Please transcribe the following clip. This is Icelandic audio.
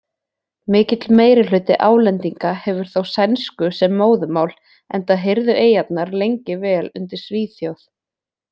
Mikill meirihluti Álendinga hefur þó sænsku sem móðurmál enda heyrðu eyjarnar lengi vel undir Svíþjóð.